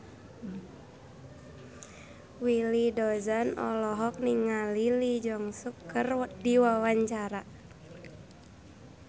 Willy Dozan olohok ningali Lee Jeong Suk keur diwawancara